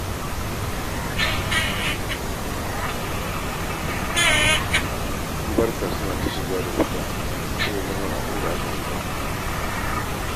Ƴan barka suna ta shiga da fita taya murnar abin da aka haifa.